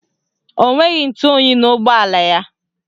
Ọ nweghị ntụoyi n'ụgbọala ya.